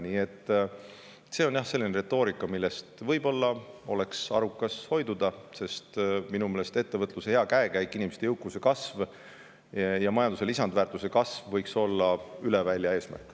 Nii et see on jah selline retoorika, millest võib-olla oleks arukas hoiduda, sest minu meelest ettevõtluse hea käekäik, inimeste jõukuse kasv ja majanduse lisandväärtuse kasv võiks olla üle välja eesmärk.